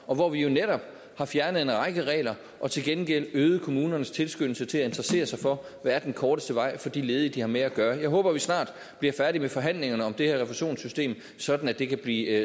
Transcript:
om hvor vi jo netop har fjernet en række regler og til gengæld øget kommunernes tilskyndelse til at interessere sig for der er den korteste vej for de ledige de har med at gøre og jeg håber vi snart bliver færdig med forhandlingerne om det her refusionssystem sådan at det kan blive